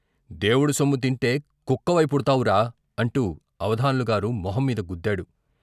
దేవుడు సొమ్ము తింటే కుక్కవై పుడ్తావురా అంటూ అవధాన్లు గారు మొహం మీద గుద్దాడు.